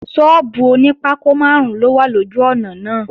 Sọ́ọ́bù oní pákó máàrún ló wà lójú ọ̀nà náà